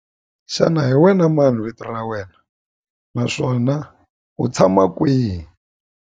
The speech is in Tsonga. Xana hi wena mani vito ra wena naswona u tshama kwihi?